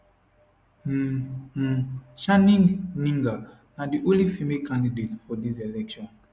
um um chaning gninga na di only female candidate for dis election